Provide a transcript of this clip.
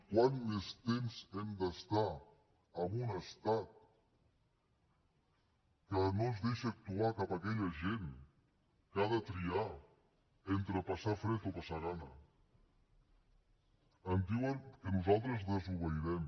quant més temps hem d’estar en un estat que no ens deixa actuar cap a aquella gent que ha de triar entre passar fred o passar gana en diuen que nosaltres desobeirem